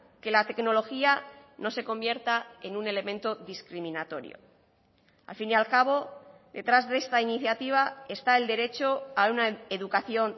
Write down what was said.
que la tecnología no se convierta en un elemento discriminatorio al fin y al cabo detrás de esta iniciativa está el derecho a una educación